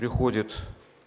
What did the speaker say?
приходит